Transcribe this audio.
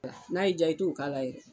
N'a y'i diya i t'o k'a la yɛrɛ